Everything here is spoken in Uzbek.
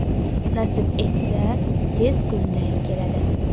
Nasib etsa, tez kunda keladi.